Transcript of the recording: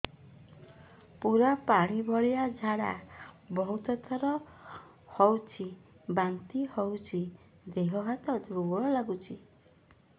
ପୁରା ପାଣି ଭଳିଆ ଝାଡା ବହୁତ ଥର ହଉଛି ବାନ୍ତି ହଉଚି ଦେହ ହାତ ଦୁର୍ବଳ ଲାଗୁଚି